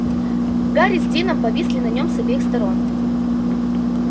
гарри с дином повисли на нем с обеих сторон